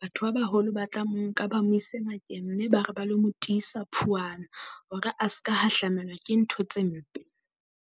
batho ba baholo ba tla mo nka ba mo ise ngakeng mme ba re ba le mo tisa phuwana hore a ska hahlamelwa ke ntho tse mpe.